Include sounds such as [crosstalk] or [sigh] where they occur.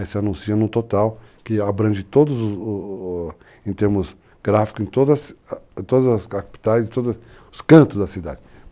Aí você anuncia num total que abrange todos o o os em termos gráfico [hesitation] em todas as capitais e todos os cantos da cidade.